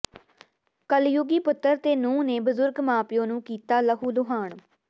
ਕਲਯੁੱਗੀ ਪੁੱਤਰ ਤੇ ਨੂੰਹ ਨੇ ਬਜ਼ੁਰਗ ਮਾਂ ਪਿਓ ਨੂੰ ਕੀਤਾ ਲਹੂ ਲੁਹਾਨ